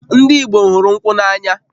Ndị Igbo hụrụ nkwụ n'anya